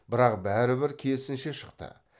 бірақ бәрі бір керісінше шықты